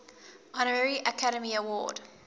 honorary academy award